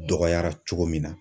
Dɔgɔyara cogo min na.